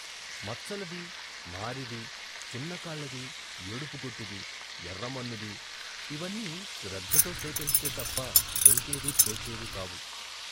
మచ్చలది, మారిది, చిన్న కాళ్ళది, ఏడుపు గొట్టుది, ఎర్ర మన్నుదీ, ఇవన్నీ శ్రద్ధతో సేకరిస్తే తప్ప దొరికేవీ తోచేవీ కావు.